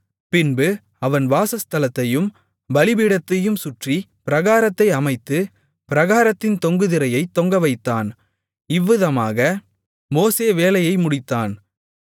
பின்பு அவன் வாசஸ்தலத்தையும் பலிபீடத்தையும் சுற்றி பிராகாரத்தை அமைத்து பிராகாரத்தின் தொங்கு திரையைத் தொங்கவைத்தான் இவ்விதமாக மோசே வேலையை முடித்தான்